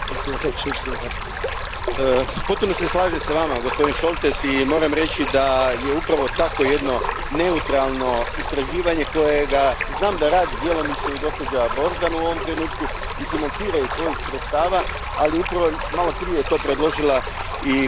Potpuno se slažem s Vama, gospodine Šoltes, i moram reći da upravo takvo jedno neutralno istraživanje radi djelomično i gospođa Borzan u ovom trenutku i financira iz svojih sredstava, ali upravo malo prije je to predložila i gospođa von Thun und Hohenstein.